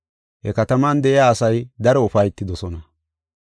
He kataman de7iya asay daro ufaytidosona.